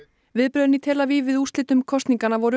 viðbrögðin í tel Aviv við úrslitum kosninganna voru